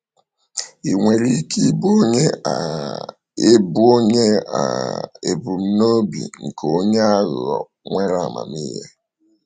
Ị nwere ike ịbụ onye um ịbụ onye um ebumnobi nke onye aghụghọ nwere amamihe.